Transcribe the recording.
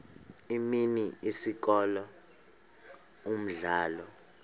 imini isikolo umdlalo